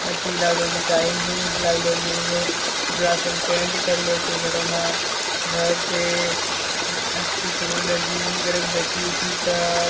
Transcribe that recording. अथी लागलो छै टाइल्स - उईल्स लागलो जेइगो। पिछला साल पेंट करलो छै घरो मा। घर छे उम अथी पर उला जिम - उम करेक बैठी-उठी क ।